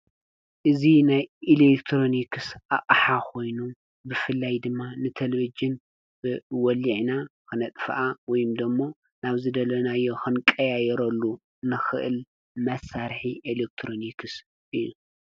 እዚ ናይ ኤሌክትሮኒክስ ኣቅሓ ኮይኑ ብፍላይ ድማ ንቴለቭዥን ወሊዕና ክነጥፍኣ ወይ ድማ ናብ ዝደለናዮ ክንቀያይረሉ እንክእል መሳርሒ ኤሌክትሮኒክስ እዩ፡፡